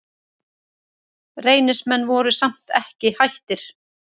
Reynismenn voru samt ekki hættir.